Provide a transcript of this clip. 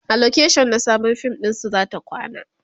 a location na Sabon fim ɗinsu zata kwana